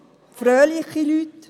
Aber es sind fröhliche Leute.